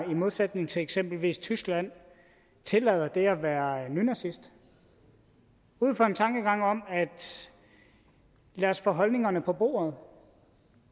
i modsætning til eksempelvis tyskland tillader det at være nynazist ud fra en tankegang om at lad os få holdningerne på bordet